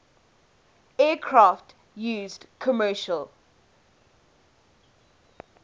aircraft used commercial